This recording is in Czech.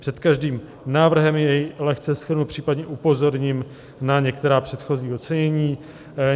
Před každým návrhem jej lehce shrnu, případně upozorním na některá předchozí ocenění.